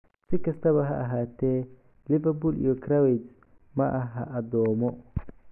Si kastaba ha ahaatee, Liverpool iyo Krawietz maaha addoommo.